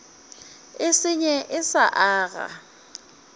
e senye e sa aga